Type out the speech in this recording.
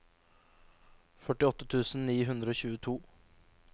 førtiåtte tusen ni hundre og tjueto